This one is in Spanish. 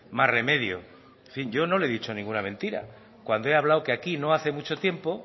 más remedio en fin yo no le he dicho ninguna mentira cuando he hablado que aquí no hace mucho tiempo